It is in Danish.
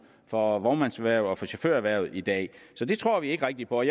for vognmandserhvervet og for chaufførerhvervet i dag så det tror vi ikke rigtig på